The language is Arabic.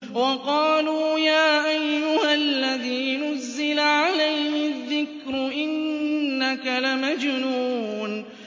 وَقَالُوا يَا أَيُّهَا الَّذِي نُزِّلَ عَلَيْهِ الذِّكْرُ إِنَّكَ لَمَجْنُونٌ